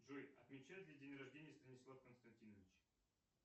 джой отмечает ли день рождения станислав константинович